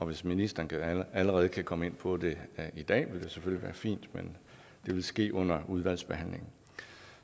hvis ministeren allerede kan komme ind på det i dag vil det selvfølgelig være fint men det vil ske under udvalgsbehandlingen